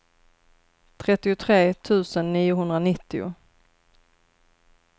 trettiotre tusen niohundranittio